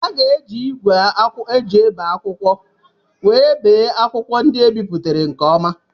A ga-eji ígwè eji ebe akwụkwọ were bee akwụkwọ ndị ebipụtara nke ọma.